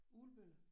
Ugelbølle